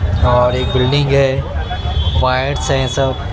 और एक बिल्डिंग है वायर्स हैं सब--